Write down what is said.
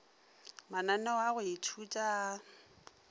mananeo a go ithuta a